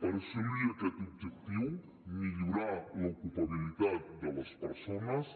per assolir aquest objectiu millorar l’ocupabilitat de les persones